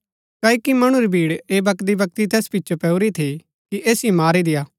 क्ओकि मणु री भीड़ ऐह बकदीबकदी तैस पिचो पैऊरी थी कि ऐसिओ मारी देय्आ